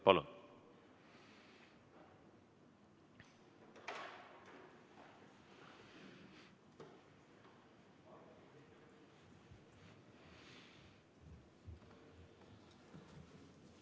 Palun!